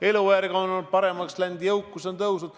Elujärg on paremaks läinud, jõukus on suurenenud.